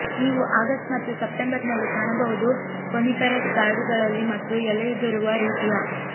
ನೀವು ಆಗಸ್ಟ್ ಮತ್ತು ಸೆಪ್ಟೆಂಬರ್ನಲ್ಲಿ ಕಾಣಬಹುದು ಕೋನಿಫೆರಸ್ ಕಾಡುಗಳಲ್ಲಿ ಮತ್ತು ಎಲೆಯುದುರುವ ರೀತಿಯ